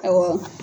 Awɔ